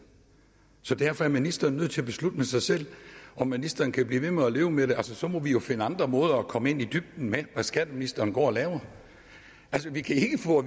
så derfor er ministeren nødt til at beslutte med sig selv om ministeren kan blive ved med at leve med det så så må vi jo finde andre måder at komme i dybden med hvad skatteministeren går og laver altså vi kan ikke få